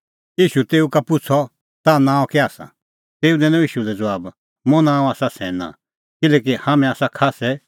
ईशू तेऊ का पुछ़अ ताह नांअ कै आसा तेऊ दैनअ ईशू लै ज़बाब मुंह नांअ आसा सैना किल्हैकि हाम्हैं आसा खास्सै